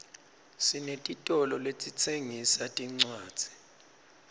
sinetitolo letitsengisa tincwadzi